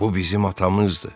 Bu bizim atamızdır.